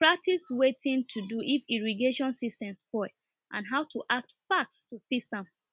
we practice wetin to do if irrigation system spoil and how to act fast to fix am